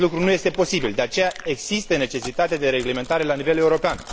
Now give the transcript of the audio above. Acest lucru nu este posibil, de aceea există necesitatea reglementării la nivel european.